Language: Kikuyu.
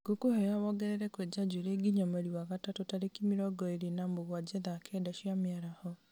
ngũkwĩhoya wongerere kwenja njuĩrĩ nginya mweri wa gatatũ tarĩki mĩrongo ĩĩrĩ na mũgwanja thaa kenda cia mĩaraho